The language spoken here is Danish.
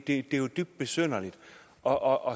det er jo dybt besynderligt og og